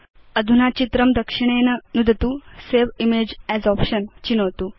अधुना चित्रं दक्षिणेन नुदतु सवे इमेज अस् आप्शन चिनोतु